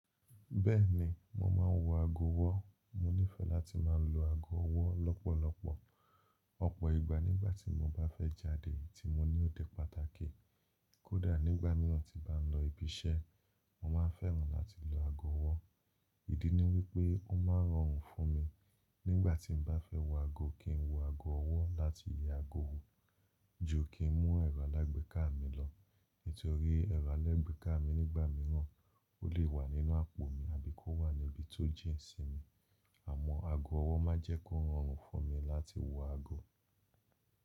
Bẹ́ẹ̀ni, mo máa ń wọ aago ọwọ́. Mo nífẹ̀ẹ́ láti máa lo aago ọwọ́ lọ́pọ̀lọpọ̀ ọ̀pọ̀ ìgbà nígbàtí mo bá fẹ́ jáde tí mo ní òde pàtàkì. Kódà nígbà mìíràn tí bá ń lọ ibi iṣẹ́, mo máa fẹ́ràn láti lo ago ọwọ́. Ìdí ni wípé ó ma rọrùn fún mi nígbàtí n bá fẹ́ wọ aago kí n wọ ago ọwọ́ láti yẹ aago wò, ju kí n mú ẹ̀rọ alágbèéká mi lọ. Nítorí ẹ̀rọ alágbèéká mi nígbà mìíràn o le wà nínú àpò mi àbí kó wà ní ibi tó jìn sí mi. Àmọ́ aago ọwọ́ ma jẹ́ kó rọrùn fún mi láti wọ aago.